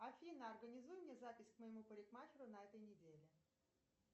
афина организуй мне запись к моему парикмахеру на этой неделе